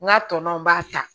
N ka tɔnw b'a ta